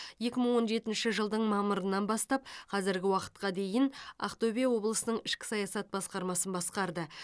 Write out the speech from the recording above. екі мың он жетінші жылдың мамырынан бастап қазіргі уақытқа дейін ақтөбе облысының ішкі саясат басқармасын басқарды